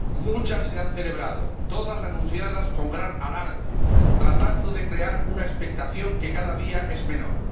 Muchas se han celebrado, todas anunciadas con gran alarde, tratando de crear una expectación que cada día es menor.